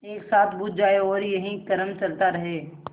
एक साथ बुझ जाएँ और यही क्रम चलता रहे